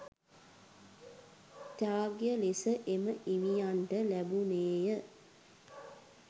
ත්‍යාග ලෙස එම හිමියන්ට ලැබුණේය